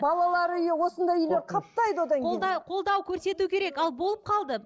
балалар үйі осындай үйлер қаптайды одан кейін қолдау көрсету керек ал болып қалды